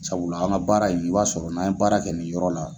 Sabula an ka baara in, i b'a sɔrɔ n'a ye baara kɛ nin yɔrɔ la.